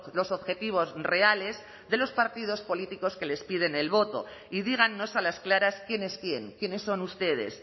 los objetivos reales de los partidos políticos que les piden el voto y dígannos a las claras quién es quién quiénes son ustedes